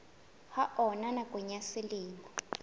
ha ona nakong ya selemo